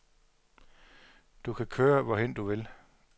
Du kan køre, hvorhen du vil.